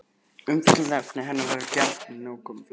Umfjöllunarefni hennar verða því gjarnan nákomin flestum mönnum.